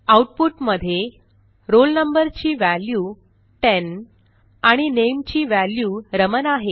output मध्ये roll number ची value ten आणि नामे ची व्हॅल्यू रमण आहे